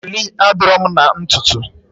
Ọlị adịrọ mụ na ntutu?